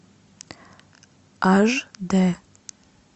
аш дэ